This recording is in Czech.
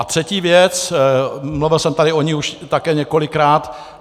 A třetí věc, mluvil jsem tady o ní už také několikrát.